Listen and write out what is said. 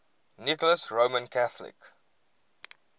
nicholas roman catholic